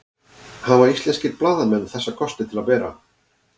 hafa íslenskir blaðamenn þessa kosti til að bera